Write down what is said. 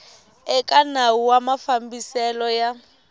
eka nawu wa mafambiselo ya